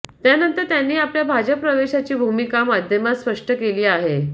त्यानंतर त्यांनी आपल्या भाजप प्रवेशाची भूमिका माध्यमात स्पष्ट केली आहे